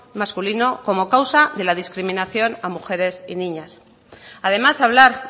masculino como causa de la discriminación a mujeres y niñas además hablar